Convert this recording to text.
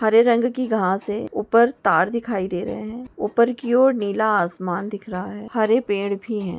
हरे रंग की घास है ऊपर तार दिखाई दे रहे है ऊपर की ओर नीला आसमान दिख रहा है हरे पेड़ भी है।